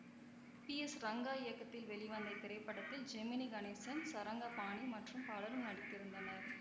B S Ranga இயக்கத்தில் வெளிவந்த இத்திரைப்படத்தில் ஜெமினி கணேசன் சரங்கபாணி மற்றும் பலரும் நடித்திருந்தனர்